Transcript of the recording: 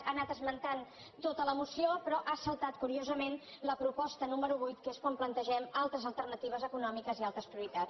ha anat esmentant tota la moció però ha saltat curiosament la proposta número vuit que és quan plantegem altres alternatives econòmiques i altres prioritats